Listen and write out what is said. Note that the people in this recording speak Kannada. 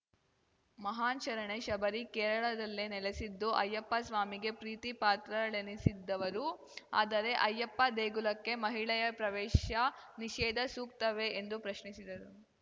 ಮಹಾನ್‌ ಶರಣೆ ಶಬರಿ ಕೇರಳದಲ್ಲೇ ನೆಲೆಸಿದ್ದು ಅಯ್ಯಪ್ಪಸ್ವಾಮಿಗೆ ಪ್ರೀತಿ ಪಾತ್ರಳೆನಿಸಿದ್ದವರು ಆದರೆ ಅಯ್ಯಪ್ಪ ದೇಗುಲಕ್ಕೆ ಮಹಿಳೆಯ ಪ್ರವೇಶ ನಿಷೇಧ ಸೂಕ್ತವೇ ಎಂದು ಪ್ರಶ್ನಿಸಿದರು